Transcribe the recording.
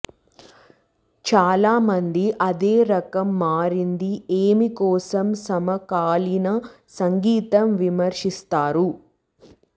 చాలా మంది అదే రకం మారింది ఏమి కోసం సమకాలీన సంగీతం విమర్శిస్తారు